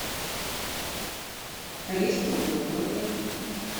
рис круглозерный